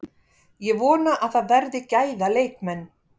Ég vona að það verði gæða leikmenn.